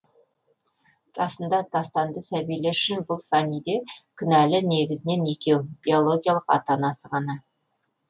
расында тастанды сәбилер үшін бұл фәниде кінәлі негізінен екеу биологиялық ата анасы ғана